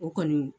O kɔni